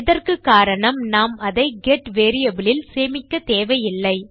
இதற்குக்காரணம் நாம் அதை get variable இல் சேமிக்க தேவையில்லை